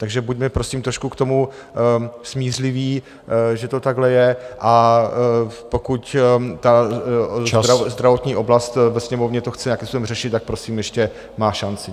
Takže buďme prosím trošku k tomu smířliví, že to takhle je, a pokud ta zdravotní oblast ve Sněmovně to chce nějakým způsobem řešit, tak prosím ještě má šanci.